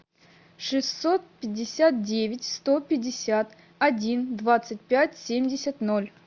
шестьсот пятьдесят девять сто пятьдесят один двадцать пять семьдесят ноль